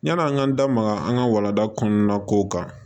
Yani an ka n da maga an ka walanda kɔnɔna kow kan